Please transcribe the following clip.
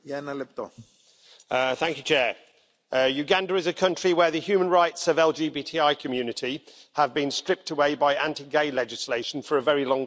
Mr President, Uganda is a country where the human rights of the LGBTI community have been stripped away by anti gay legislation for a very long time.